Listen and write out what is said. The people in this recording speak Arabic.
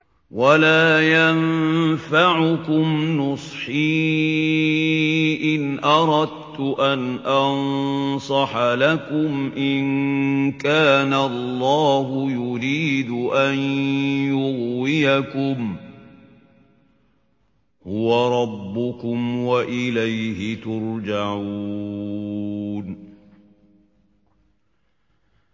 وَلَا يَنفَعُكُمْ نُصْحِي إِنْ أَرَدتُّ أَنْ أَنصَحَ لَكُمْ إِن كَانَ اللَّهُ يُرِيدُ أَن يُغْوِيَكُمْ ۚ هُوَ رَبُّكُمْ وَإِلَيْهِ تُرْجَعُونَ